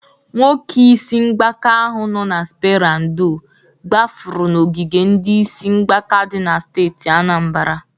Nwoke isi mgbaka ahụ nọ na spera ndo gbafụrụ n'ogige ndị isi mgbaka dị na steeti Anambara.